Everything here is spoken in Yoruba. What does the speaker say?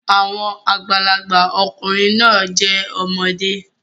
Àwọn àgbàlagbà ọkùnrin náà jẹ́ ọmọdé